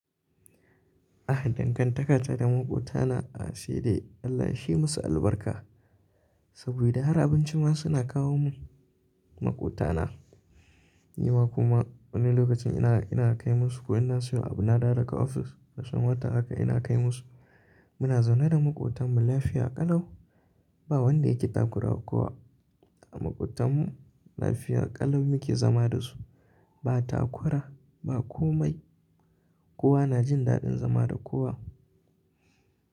Ah dangan takata da maƙotana a saidai Allah yashi musu albarka. Saboda har abinci ma suna kawo mun maƙotana. Ni ma kuma wani lokacin ina, ina kai musu ko ina siyo abu na dawo daga ofis da sumata haka ina kai musu. Muna zaune da maƙotan mu lafiya ƙalau. Ba wanda yake daƙura kowa. Maƙotan mu lafiya ƙalau muke zama da su. Ba takura ba komai. Kowa na jin daɗin zama da kowa.